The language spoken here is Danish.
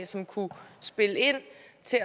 sikre